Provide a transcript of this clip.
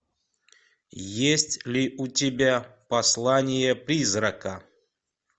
есть ли у тебя послание призрака